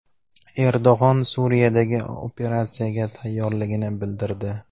Erdo‘g‘on Suriyadagi operatsiyaga tayyorligini bildirdi.